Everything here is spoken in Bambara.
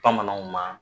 Bamananw ma